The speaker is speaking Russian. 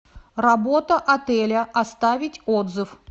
работа отеля оставить отзыв